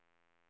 Ödskölt